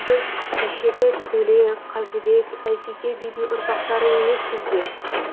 біз кешегі төле қазыбек әйтеке бидің ұрпақтары емеспіз бе